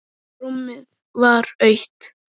Rúmið var autt.